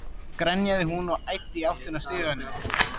grenjaði hún og æddi í áttina að stiganum.